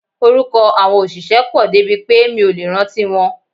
Orúkọ àwọn òṣìṣẹ́ pọ̀ débi pé mi ò lè rántí wọn.